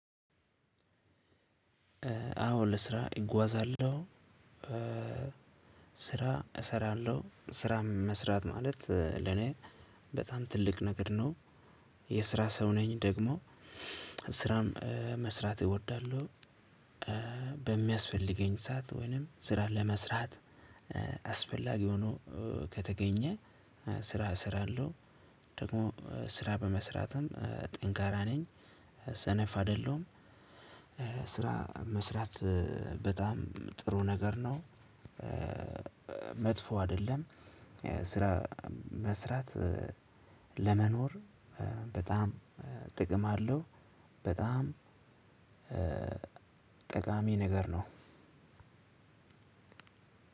አዎ ለስራ እጓዛለሁ ስራ እሰራለሁ ስራ መስራት ማለት ለኔ በጣም ትልቅ ነገር ነው። የስራ ሰው ነኝ ደግሞ ስራም መስራት እወዳለሁ። በሚያስፈልገኝ ሰዓት ወይንም ስራ ለመስራት። አስፈላጊ ሆኖ ከተገኘ ስራ እሰራለሁ። ደግሞ ስራ በመስራትም ጠንካራ ነኝ። ሰነፍ አይደለሁም። ስራ መስራት በጣም ጥሩ ነገር ነው። መጥፎ አይደለም። ስራ መስራት ለመኖር በጣም ጥቅም አለው። በጣም ጠቃሚ ነገር ነው።